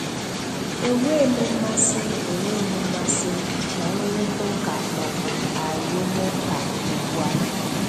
Enweghị m mmasị Enweghị m mmasị um na nrụrịtaụka maọbụ arụmụka ugbu a.